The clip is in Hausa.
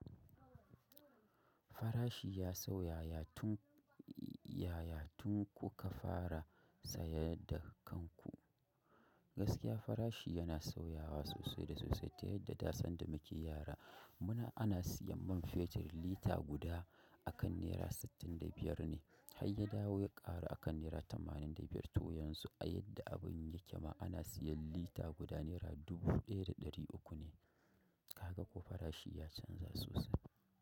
Farashi ya sauya yatu yayatu kuka fara sayar da kanku. Gaskiya farashi yana sauyawa sosai da sosai ta yadda dasan da muke yara muna ana siyan man fetur lita guda akan naira sittin da biyar ne, har ya dawo ya ƙaru akan naira tamanin da to yanzu a yadda abun yake ma ana sayan lita guda naira dubu ɗaya dadaru uku ne kaga ko farashi ya canja sosai.